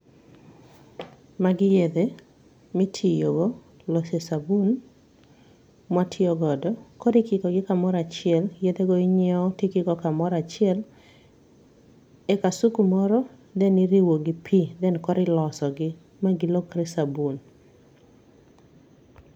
Magi yedhe mitiyogo lose sabun mwa tiyogodo. Koro ikikogi kamoro achiel. Yedhe go inyieo to ikikogi kamoro achiel e kasuku moro then iriwo gi pi then koro ilosogi ma gilokre sabun.